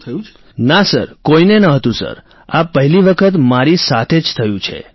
રાજેશ પ્રજાપતિઃ ના સર કોઈને નહોતું સર આ પહેલી વખત મારી સાથે જ થયું છે